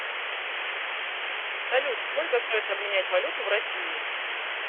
салют сколько стоит обменять валюту в россии